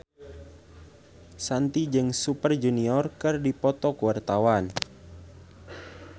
Shanti jeung Super Junior keur dipoto ku wartawan